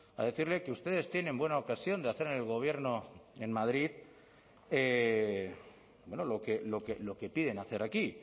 a decirle que ustedes tienen buena ocasión de hacer en el gobierno en madrid lo que piden hacer aquí